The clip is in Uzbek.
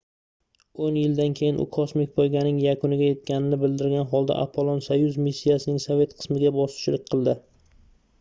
oʻn yildan keyin u kosmik poyganing yakuniga yetganini bildirgan holda apollon-soyuz missiyasining sovet qismiga boshchilik qildi